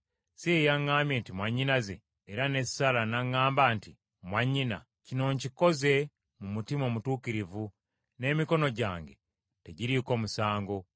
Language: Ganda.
Si yeyaŋŋamba nti, ‘Mwannyinaze?’ Era ne Saala n’aŋŋamba nti, ‘Mwannyina.’ Kino nkikoze mu mutima omutuukirivu n’emikono gyange tegiriiko musango.”